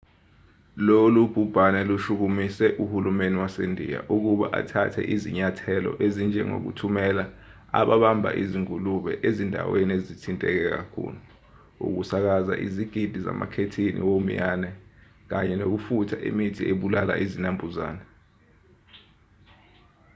lolu bhubhane lushukumise uhulumeni wasendiya ukuba athathe izinyathelo ezinjengokuthumela ababamba izingulube ezindaweni ezithinteke kakhulu ukusakaza izigidi zamakhethini womiyane kanye nokufutha imithi ebulala izinambuzane